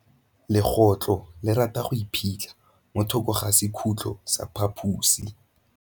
Legôtlô le rata go iphitlha mo thokô ga sekhutlo sa phaposi.